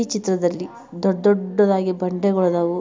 ಈ ಚಿತ್ರದಲ್ಲಿ ದೊಡ್ ದೊಡ್ಡದಾಗಿ ಬಂಡೆಗಳು ಅದಾವು.